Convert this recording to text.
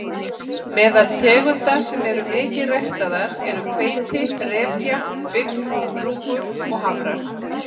Meðal tegunda sem eru mikið ræktaðar eru hveiti, repja, bygg, rúgur og hafrar.